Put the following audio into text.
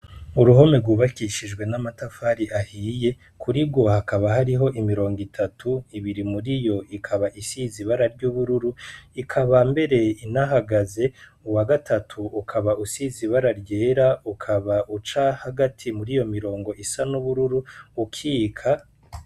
Uruhome rwubakishijwe n'amatafari ahiye kuri rwo hakaba hariho imirongo itatu, ibiri muri yo ikaba isize ibara ry'ubururu ikaba mbere inahagaze, uwa gatatu ukaba usize ibara ryera ukaba uca hagati mur'iyo mirongo isa n'ubururu ukika.